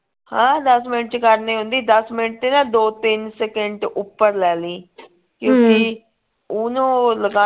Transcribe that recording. ਹਾਂ ਦੱਸ ਮਿੰਟ ਕਰਨੇ ਹੁੰਦੀ ਦੱਸ ਮਿੰਟ ਨਾ ਦੋ ਤਿੰਨ ਸਕੇਂਟ ਉਪਰ ਲੈ ਲਈ ਓਹਨੂੰ ਲਗਾਨੇ